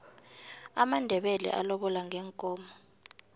amandebele alobola ngeenkomo